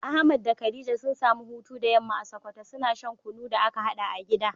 Ahmad da khadija sun samu hutu da yamma a sokoto, suna shan kunu da aka haɗa a gida.